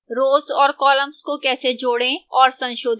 rows और columns को कैसे जोड़ें और संशोधित करें